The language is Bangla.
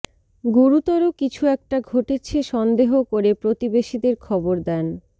গুরুতর কিছু একটা ঘটেছে সন্দেহ করে প্রতিবেশীদের খবর দেন